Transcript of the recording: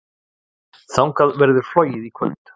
Þangað verður flogið í kvöld.